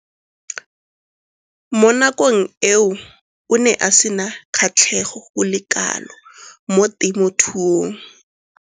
Mo nakong eo o ne a sena kgatlhego go le kalo mo temothuong.